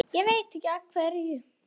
Hún var komin heim.